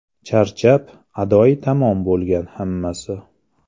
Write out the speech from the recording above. Charchab, adoyi tamom bo‘lgan hammasi.